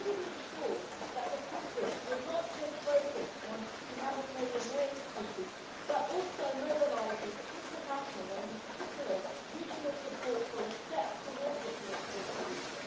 How do we ensure that the conference will not just focus on humanitarian aid issues but also mobilises international and, in particular, regional support for a step towards a political solution?